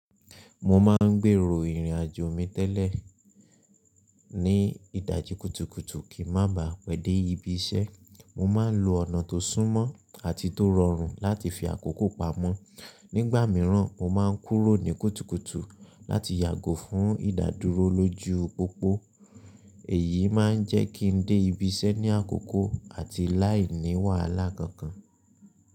Mo máa ń gbèrò ìrìn-àjò mi tẹ́lẹ̀ ní ìdàjì kùtùkùtù kí má baà pẹ́dẹ́ ibi iṣẹ́. Mo máa ń lo ọ̀nà tó súnmọ́ àti tó rọrùn láti fi àkókò pamọ́. Nígbà mìíràn, mo má ń kúrò ní kùtùkùtù láti yàgò fún ìdàdúró lójú pópó. Èyí má ń jẹ́ kí n dé ibi iṣẹ́ ní àkókò àti láì ní wàhálà kankan.